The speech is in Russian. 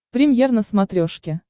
премьер на смотрешке